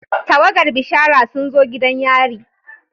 Tawagar bishara sun zo gidan yari.